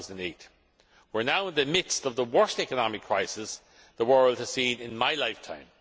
July 2008. We are now in the midst of the worst economic crisis the world has seen in my lifetime.